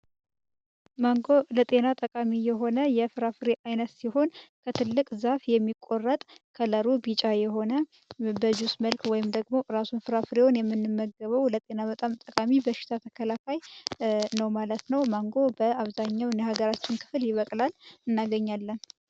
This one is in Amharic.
ማንጎ ለጤና ጠቃሚ የሆነ የፍራፍሬ አይነት ሲሆን ከትልቅ ዛፍ የሚቆረጥ ከለሩ ቢጫ የሆነ በጁስ መልክ ወይም ደግሞው እራሱን ፍራ ፍሬዎን የምንመገበው ለጤና መጣም ጠቃሚ በሽታ ተከላካይ ነው። ማለት ነው ማንጎ በአብዛኛው የሃገራችን ክፍል ሊበቅላል እናገኛለም።